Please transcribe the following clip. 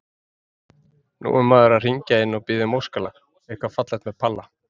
Nú er maður að hringja inn og biðja um óskalag, eitthvað fallegt með Palla